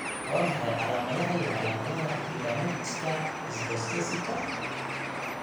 Waa maxay calaamadaha iyo calaamadaha Epidermolyticka ichthyosiska